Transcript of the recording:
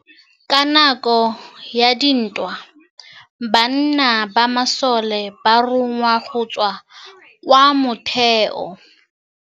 Ka nakô ya dintwa banna ba masole ba rongwa go tswa kwa mothêô.